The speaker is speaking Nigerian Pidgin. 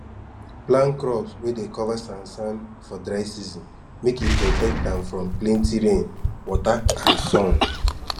plan crops wey dey cover sansan for dry season make e protect am from plenty rain wata and sun